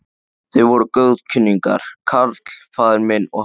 Þeir voru góðkunningjar, karl faðir minn og hann.